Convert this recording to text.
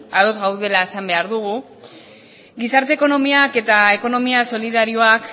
ados gaudela esan behar dugu gizarte ekonomiak eta ekonomia solidarioak